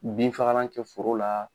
binfagalan kɛ foro la.